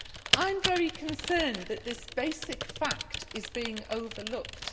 I am very concerned that this basic fact is being overlooked.